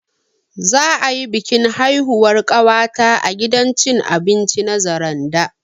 Za'a yi bikin haihuwar ƙawata a gidan cin abinci na Zaranda